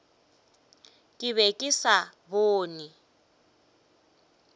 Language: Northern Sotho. ke be ke sa bone